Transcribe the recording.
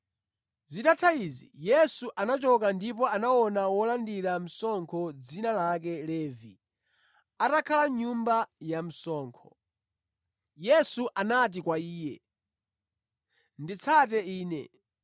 Zitatha izi, Yesu anachoka ndipo anaona wolandira msonkho dzina lake Levi atakhala mʼnyumba ya msonkho. Yesu anati kwa iye, “Nditsate Ine.”